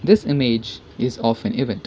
this image is of an event.